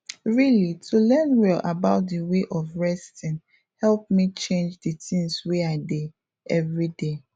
really to learn well about d way of resting help me change d things wey i dey everyday